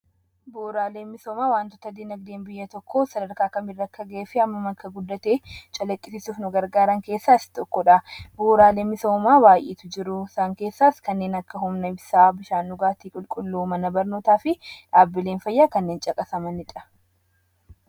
Bu'uuraaleen misoomaa wantoota diinagdeen biyya tokkoo sadarkaa kamirra akka ga'ee fi hammam akka guddate calaqqisiisuuf nu gargaaran keessaa isa tokko dha. Bu'uuraaleen misoomaa baay'eetu jiru. Isaan keessaas: kanneen akka humna ibsaa, bishaan dhugaatii qulqulluu, mana barnootaa fi dhaabbileen fayyaa kanneen caqasamanii dha.